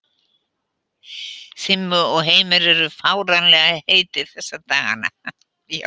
Simmi og Heimir eru fáránlega heitir þessa dagana.